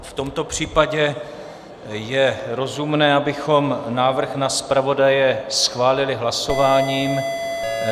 V tomto případě je rozumné, abychom návrh na zpravodaje schválili hlasováním.